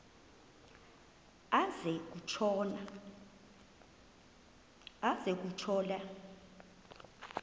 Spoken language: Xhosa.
aze kutsho la